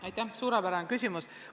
Aitäh, suurepärane küsimus!